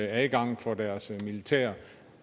adgang for deres militær